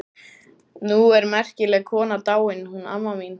Nú er merkileg kona dáin, hún amma mín.